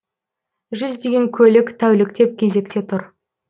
жүздеген көлік тәуліктеп кезекте тұр